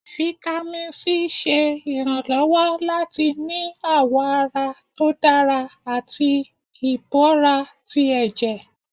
Vitamin c ṣe ìránlọwọ latí ní awọ àrà tó dárá atí ìbọrá tí ẹjẹ́.